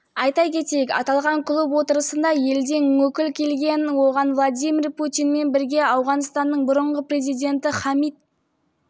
айта кетейік аталған клуб отырысына елден өкіл келген оған владимир путинмен бірге ауғанстанның бұрынғы президенті хамит